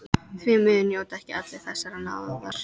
Því miður njóta ekki allir þessarar náðar.